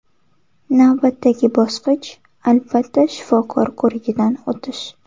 Navbatdagi bosqich albatta shifokor ko‘rigidan o‘tish.